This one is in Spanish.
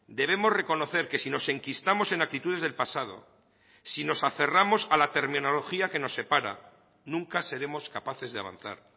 debemos reconocer que si nos enquistamos en actitudes del pasado si nos aferramos a la terminología que nos separa nunca seremos capaces de avanzar